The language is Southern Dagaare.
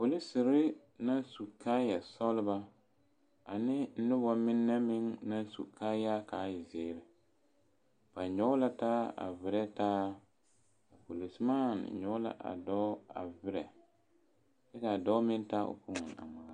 polisiri naŋ su kaayaa kaa e sɔglɔ ane noba mine meŋ naŋ su kaayaa kaa e zeɛre, ba nyɔge taa a viree taa, a polisidɔɔ nyɔge la a dɔɔ a viree kyɛ kaa dɔɔ meŋ taa o fone a ŋmaara.